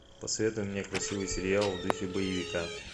посоветуй мне красивый сериал в духе боевика